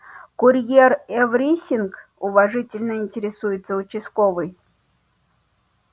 курьер эврисинг уважительно интересуется участковый